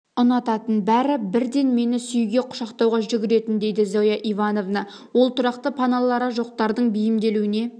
ұнататын бәрі бірден мені сүюге құшақтауға жүгіретін дейді зоя ивановна ол тұрақты паналары жоқтардың бейімделуіне